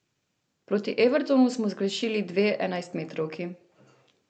Proti Evertonu smo zgrešili dve enajstmetrovki.